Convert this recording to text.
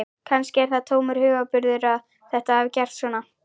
Kannski er það tómur hugarburður að þetta hafi gerst svona.